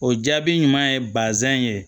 O jaabi ɲuman ye bazɛn ye